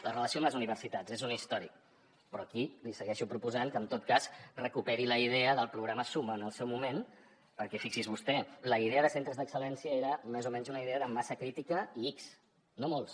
la relació amb les universitats és un històric però aquí li segueixo proposant que en tot cas recuperi la idea del programa suma en el seu moment perquè fixi’s vostè la idea de centres d’excel·lència era més o menys una idea de massa crítica i ics no molts